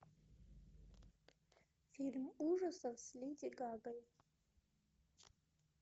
фильм ужасов с леди гагой